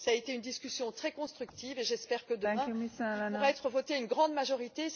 Cela a été une discussion très constructive et j'espère que, demain, il pourra être voté à une grande majorité.